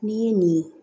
N'i ye nin ye